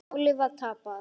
Málið var tapað.